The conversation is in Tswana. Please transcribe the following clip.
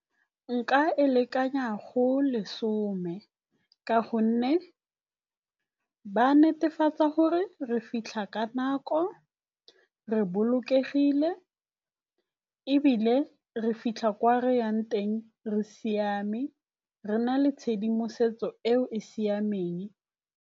Nka e lekanya go lesome ka gonne ba netefatsa gore re fitlha ka nako, re bolokegile ebile re fitlha kwa re yang teng re siame, re na le tshedimosetso eo e siameng.